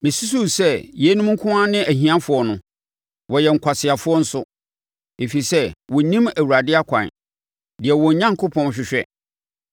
Mesusuu sɛ, “Yeinom nko ara ne ahiafoɔ no; wɔyɛ nkwaseafoɔ nso, ɛfiri sɛ wɔnnim Awurade akwan, deɛ wɔn Onyankopɔn hwehwɛ.